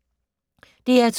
DR2